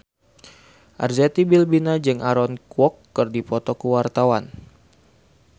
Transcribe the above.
Arzetti Bilbina jeung Aaron Kwok keur dipoto ku wartawan